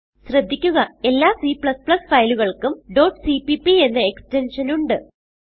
ശ്രദ്ധിക്കുക എല്ലാ Cഫയലുകൾക്കും cppഎന്ന എക്സ്റ്റെൻഷൻ ഉണ്ട്